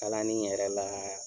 Kalanni yɛrɛ la